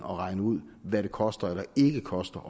regne ud hvad det koster eller ikke koster